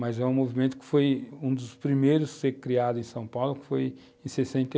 Mas é um movimento que foi um dos primeiros a ser criado em São Paulo, que foi em 68.